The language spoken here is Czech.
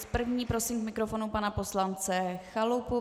S první prosím k mikrofonu pana poslance Chalupu.